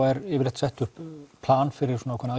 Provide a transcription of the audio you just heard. er sett upp plan fyrir svona ákveðna